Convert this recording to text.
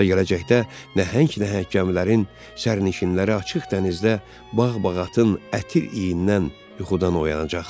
Və gələcəkdə nəhəng-nəhəng gəmilərin sərnişinləri açıq dənizdə bağ-bağatın ətir iindən yuxudan oyanacaqlar.